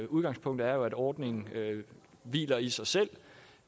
udgangspunktet er at ordningen hviler i sig selv og